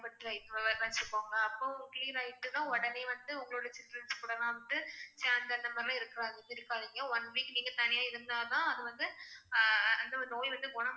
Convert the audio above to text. வச்சுக்கோங்க. அப்போ clear ஆயிட்டினா உடனே வந்து உங்களோட childrens கூடலாம் வந்து chat அந்த மாதிரிலாம் இருக்~ இருக்காதீங்க. one week நீங்க தனியா இருந்தா தான் அது வந்து அஹ் அந்த நோய் வந்து